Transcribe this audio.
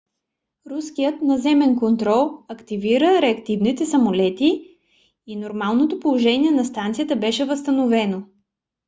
руският наземен контрол активира реактивните самолети и нормалното положение на станцията беше възстановено